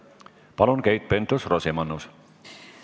Palun, Keit Pentus-Rosimannus!